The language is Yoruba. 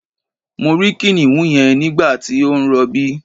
Mo rí kìnìún yẹn nígbàtí ó ń rọbí